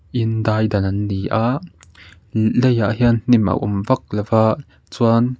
in dai dan an ni a ih lei ah hian hnim a awm vaklo a chuan--